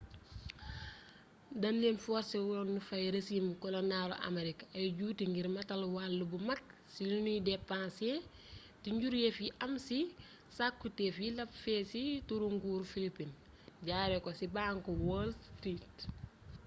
dañ leen forsewoon ñu fay rezim koloñaalu amerik ay juuti ngir matal wàll bu mag ci liñuy depansé te njuréef yi am ci cakkutéef yi làp feey ci turu nguuru philipin jaaree ko ci banku waal street